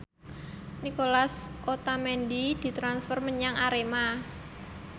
Nicolas Otamendi ditransfer menyang Arema